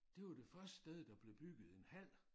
Det var det første sted der blev bygget en hal